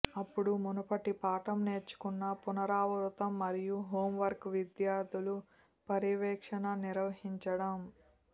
అప్పుడు మునుపటి పాఠం నేర్చుకున్న పునరావృతం మరియు హోంవర్క్ విద్యార్థులు పర్యవేక్షణ నిర్వహించడం